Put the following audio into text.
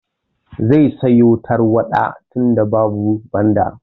Zai siyo tarwaɗa tunda babu Bandar.